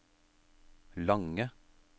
lange